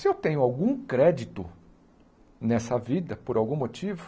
Se eu tenho algum crédito nessa vida, por algum motivo,